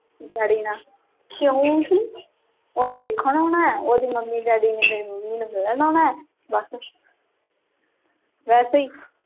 dady ਨਾ ਕਹਿਣ ਡਏ ਸੀ ਉਹਨੇ ਵੇਖਣ ਆਉਣਾ ਹੈ ਉਹਦੇ mummy daddy ਨੇ ਮੈਨੂੰ ਮਿਲਣ ਆਉਣਾ ਹੈ ਬਸ ਵੈਸੇ ਹੀ